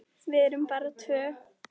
Við erum bara tvö.